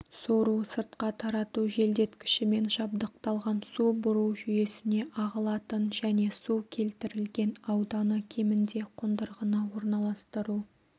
сору-сыртқа тарату желдеткішімен жабдықталған су бұру жүйесіне ағылатын және су келтірілген ауданы кемінде қондырғыны орналастыру